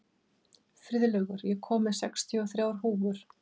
Friðlaugur, ég kom með sextíu og þrjár húfur!